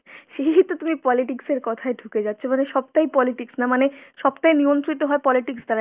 এই তো তুমি politics এর কথায় ঢুকে যাচ্ছ। মানে সবটাই politics, না মানে সবটাই নিয়ন্ত্রিত হয় politics দ্বারা